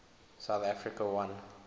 south africa won